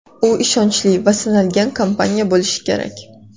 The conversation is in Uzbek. U ishonchli va sinalgan kompaniya bo‘lishi kerak.